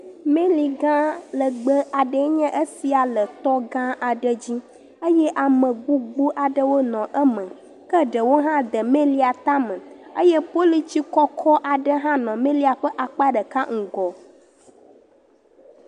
Miligã lɛgbɛɛ enye sia le tɔgã aɖe dzi eye ame gbogbowo nɔ eme. Ke ɖewo hã de melia tame eye polutsi kɔkɔ aɖe hã nɔ melia ƒe akpa ɖeka ŋgɔ.